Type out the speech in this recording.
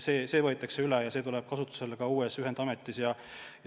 See võetakse üle ja see tuleb kasutusele ka uues ühendametis.